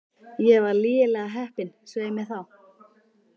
Ég var lygilega heppin, svei mér þá.